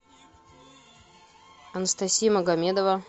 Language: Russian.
анастасия магомедова